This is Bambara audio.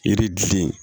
Yiri gili